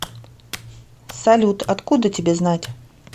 салют откуда тебе знать